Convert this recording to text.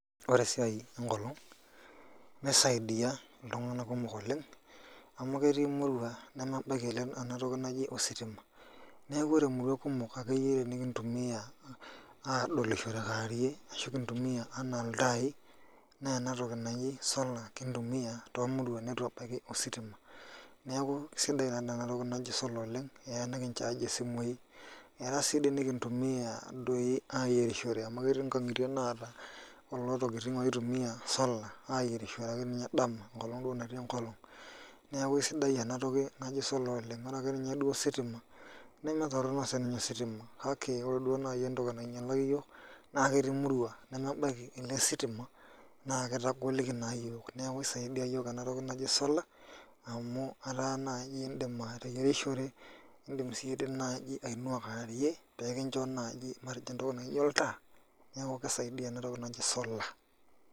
Ore esiai enkolong nisaidia ltunganak kumok oleng amu ketii murua nemebaki enatoki naji ositima neaku ore muruan kumok nikintumia adolishore kewarie ashu kintumia anaa ltai na enatoki naji solar kintumia tomuruan nituebaya ositima neaku sidai ta enatoki naji solar oleng keya nikincho incharge isimui, keya si nikintumia ayierishore amu ketii nkangitie naata kulo tokitin aitumiw solar ayierishore akenye dama enkolong natii enkolong, neaku sidai enatoki najo solar oleng ore akeenye ositima nama toronok oleng kake oreduo nai entoki nainyalaki yiok naketii muruan nemebaki elesitima na kitagoliki na yiok neaku kisaidia yiok enatoki naji solar amu ataa naju indimateyierishore, indim ainua kewarie pekinchobmatejo entoki naijo oltaa neaku kisaidia enatoki naji solar.